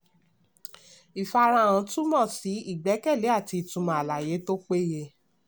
ìfarahàn túmọ̀ sí ìgbẹ́kẹ̀lé àti ìtumọ̀ àlàyé tó péye.